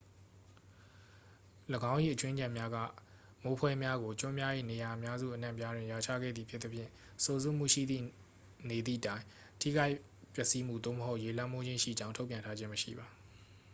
၎င်း၏ အကြွင်းအကျန်များက မိုးဖွဲများကို ကျွန်းများ၏ နေရာအများစုအနှံ့အပြားတွင် ရွာချခဲ့သည်ဖြစ်သဖြင့် စိုစွတ်မှုရှိသည့်နေသည့်တိုင် ထိခိုက်ပျက်စီးမှု သို့မဟုတ် ရေလွှမ်းမိုးခြင်းရှိကြောင်း ထုတ်ပြန်ထားခြင်းမရှိပါ